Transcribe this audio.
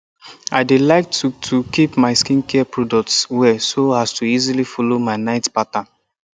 i dey like to to keep my skincare products well so as to easily follow my night pattern